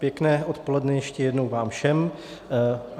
Pěkné odpoledne ještě jednou vám všem.